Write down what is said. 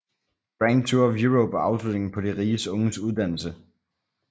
Grand Tour of Europe var afslutningen på de rige unges uddannelse